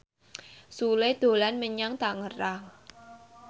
Sule dolan menyang Tangerang